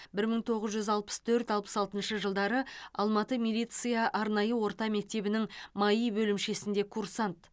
бір мың тоғыз жүз алпыс төрт алпыс алтыншы жылдары алматы милиция арнайы орта мектебінің маи бөлімшесінде курсант